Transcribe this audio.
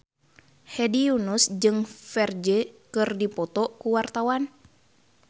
Hedi Yunus jeung Ferdge keur dipoto ku wartawan